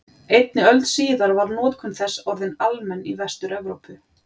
Einni öld síðar var notkun þess orðin almenn í Vestur-Evrópu.